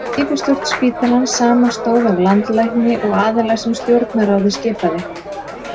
Yfirstjórn spítalans samanstóð af landlækni og aðila sem stjórnarráðið skipaði.